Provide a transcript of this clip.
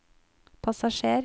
passasjer